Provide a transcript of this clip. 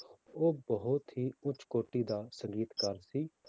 ਉਹ ਬਹੁਤ ਹੀ ਉੱਚ ਕੋਟੀ ਦਾ ਸੰਗੀਤਕਾਰ ਸੀ?